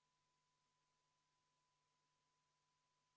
Tulemusega poolt 1, vastu 58 ja erapooletuid 1, ei leidnud ettepanek toetust.